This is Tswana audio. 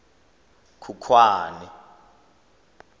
khukhwane